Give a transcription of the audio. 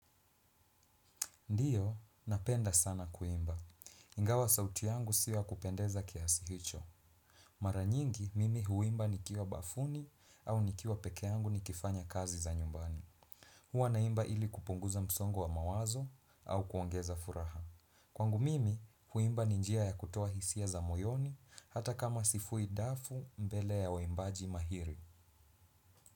Ndiyo, napenda sana kuimba. Ingawa sauti yangu si ya kupendeza kiasi hicho. Mara nyingi, mimi huimba nikiwa bafuni au nikiwa peke yangu nikifanya kazi za nyumbani. Huwa naimba ili kupunguza msongo wa mawazo au kuongeza furaha. Kwangu mimi, kuimba ni njia ya kutoa hisia za moyoni hata kama sifui dafu mbele ya waimbaji mahiri.